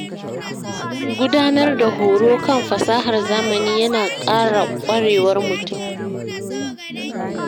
Gudanar da horo kan fasahar zamani ya na ƙara ƙwarewar mutum.